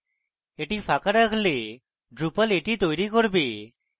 এটি ফাঁকা রাখলে drupal এটি তৈরী করবে